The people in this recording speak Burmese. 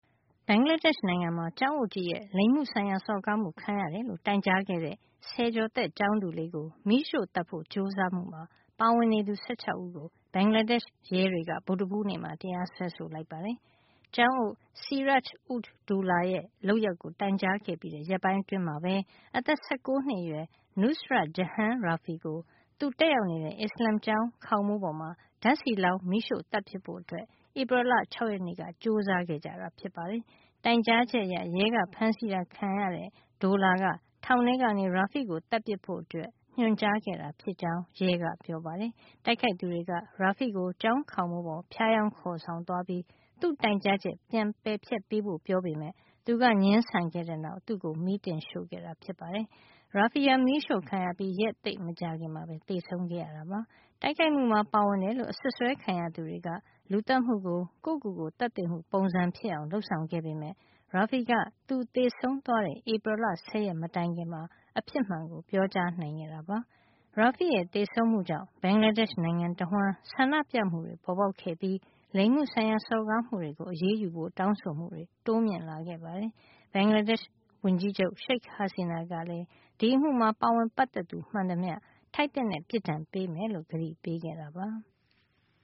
ဘင်္ဂလားဒေ့ရှ် နိုင်ငံမှာ ကျောင်းအုပ်ကြီးရဲ့ လိင်မှုဆိုင်ရာ စော်ကားမှုခံရတယ်လို့ တိုင်ကြားခဲ့တဲ့ ဆယ်ကျော်သက် ကျောင်းသူလေးကို မီးရှို့သတ်ဖို့ ကြိုးစားမှုမှာ ပါဝင်နေသူ ၁၆ ဦးကို ဘင်္ဂလားဒေ့ရှ် ရဲတွေက ဗုဒ္ဓဟူးနေ့မှာ တရားစွဲဆိုလိုက်ပါတယ်။ ကျောင်းအုပ် Siraj Ud Doula ရဲ့လုပ်ရပ်ကို တိုင်ကြားခဲ့ပြီး ရက်ပိုင်းအတွင်းမှာပဲ အသက် ၁၉ နှစ်အရွယ် Nusrat Jahan Rafi ကို သူတက်ရောက်နေတဲ့ အစ္စလာမ်ကျောင်း ခေါင်မိုးပေါ်မှာ ဓါတ်ဆီလောင်း မီးရှို့သတ်ပစ်ဖို့ ဧပြီလ ၆ ရက်နေ့က ကြိုးစားခဲ့ကြတာ ဖြစ်ပါတယ်။ တိုင်ကြားချက်အရရဲက ဖမ်းဆီးတာ ခံရတဲ့ Doula က ထောင်ထဲကနေ Rafi ကို သတ်ပစ်ဖို့ ညွှန်ကြားခဲ့တာဖြစ်ကြောင်း ရဲက ပြောပါတယ်။ တိုက်ခိုက်သူတွေက Rafi ကို ကျောင်းခေါင်မိုးပေါ် ဖြားယောင်း ခေါ်သွားပြီး သူ့တိုင်ကြားချက် ပြန်ပယ်ဖျက်ပေးဖို့ ပြောကြပေမယ့် သူက ငြင်းဆန်ခဲ့တဲ့အတွက် သူ့ကို မီးတင်ရှို့ခဲ့တာ ဖြစ်ပါတယ်။ Rafi ဟာ မီးအရှို့ခံရပြီး ရက်သိပ်မကြာခင်မှာပဲ သေဆုံးခဲ့ပါတယ်။ တိုက်ခိုက်မှုမှာ ပါဝင်တယ်လို့ အစွပ်စွဲခံရသူတွေက လူသတ်မှုကို ကိုယ့်ကိုယ်ကိုယ် သတ်သေမှု ပုံစံဖြစ်အောင် လုပ်ဆောင်ခဲ့ပေမယ့် Rafi က သူသေဆုံးသွားတဲ့ ဧပြီလ ၁၀ ရက် မတိုင်ခင်မှာ အဖြစ်မှန်ကို ပြောကြားနိုင်ခဲ့တာပါ။ Rafi ရဲ့ သေဆုံးမှုကြောင့် ဘင်္ဂလားဒေ့ရှ် နိုင်ငံတဝှမ်း ဆန္ဒပြမှုတွေ ပေါ်ပေါက်ခဲ့ပြီး လိင်မှုဆိုင်ရာ စော်ကားမှုတွေ ကို အရေးယူဖို့ တောင်းဆိုမှုတွေ တိုးမြင့်လာခဲ့ပါတယ်။ ဘင်္ဂလားဒေ့ရှ် ဝန်ကြီးချုပ် Sheikh Hasina ကလည်း ဒီအမှုမှာ ပါဝင်ပတ်သက်သူ မှန်သမျှ ထိုက်သင့်တဲ့ ပြစ်ဒဏ်ပေးမယ်လို့ ကတိပေးခဲ့တာပါ။